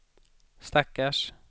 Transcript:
stackars